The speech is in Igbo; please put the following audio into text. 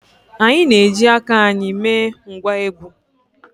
Anyị na-eji aka anyị mee ngwá egwú